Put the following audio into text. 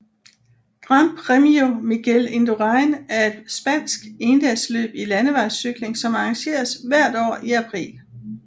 Gran Premio Miguel Indurain er et spansk endagsløb i landevejscykling som arrangeres hvert år i april